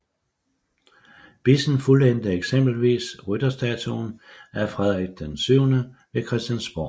Bissen fuldendte eksempelvis rytterstatuen af Frederik VII ved Christiansborg